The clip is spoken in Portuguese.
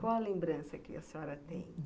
Qual a lembrança que a senhora tem?